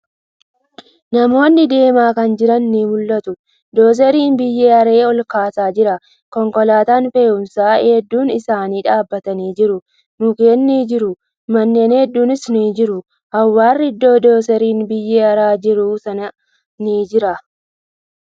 Namoonni deemaa kan jiran ni mul'atu, Doozariin biyyee haree olkaasaa jira. Konkolataan fe'uumsaa hedduun isaanii dhaabbatanii jiru. Mukkeen ni jiru. Manneen hedduunis ni jiru. Awwaarri iddoo doozariin biyyee haraa jiru sanitti ni jira.